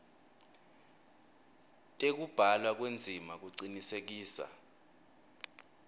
tekubhalwa kwendzima kucinisekisa